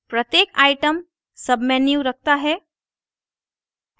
प्रत्येक item submenu रखता है